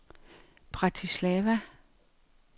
Bratislava